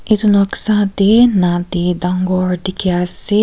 itu noksa teh nadi dangor dikhi ase.